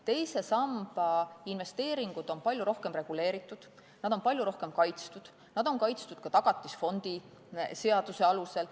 Teise samba investeeringud on palju rohkem reguleeritud, nad on palju rohkem kaitstud, nad on kaitstud ka Tagatisfondi seaduse alusel.